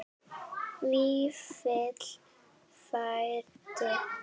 Vífill frændi.